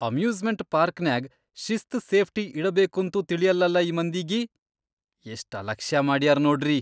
Amusement ಪಾರ್ಕ್ನ್ಯಾಗ್ ಶಿಸ್ತ್ safety ಇಡಬೇಕಂತೂ ತಿಳಿಯಲ್ಲಲಾ ಈ ಮಂದಿಗಿ.. ಎಷ್ಟ್ ಅಲಕ್ಷ್ಯಾ ಮಾಡ್ಯಾರ್ ನೋಡ್ರಿ!